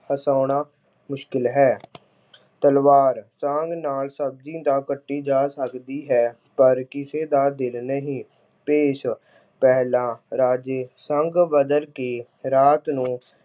ਹਸਾਉਣਾ ਮੁਸ਼ਕਿਲ ਹੈ। ਤਲਵਾਰ- ਸੰਗ ਨਾਲ ਸਬਜ਼ੀ ਤਾਂ ਕੱਟੀ ਜਾ ਸਕਦੀ ਹੈ, ਪਰ ਕਿਸੇ ਦਾ ਦਿਲ ਨਹੀਂ। ਭੇਸ਼- ਪਹਿਲਾਂ ਰਾਜੇ ਸੰਗ ਬਦਲ ਕੇ ਰਾਤ ਨੂੰ